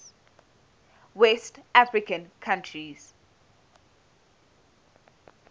west african countries